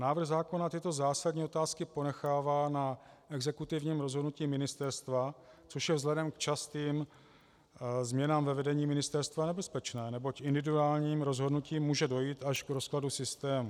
Návrh zákona tyto zásadní otázky ponechává na exekutivním rozhodnutí ministerstva, což je vzhledem k častým změnám ve vedení ministerstva nebezpečné, neboť individuálním rozhodnutím může dojít až k rozkladu systému.